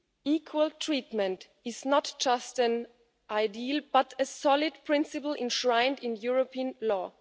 Equal treatment is not just an ideal but a solid principle enshrined in European law.